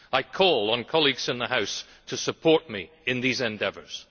I call on colleagues in the House to support me in these endeavours.